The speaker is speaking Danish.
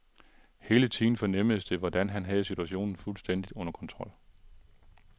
Hele tiden fornemmedes det, hvordan han havde situationen fuldstændigt under kontrol.